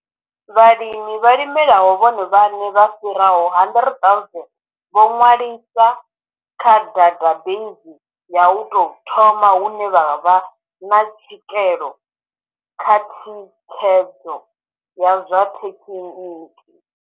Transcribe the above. Vhalimi vha limelaho vhone vhaṋe vha fhiraho 100 000 vho ṅwaliswa kha databeizi ya u tou thoma hune vha vha na tswikelo kha thi khedzo ya zwa thekhiniki.